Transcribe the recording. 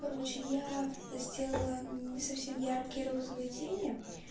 короче я сделала не совсем яркие розовые тени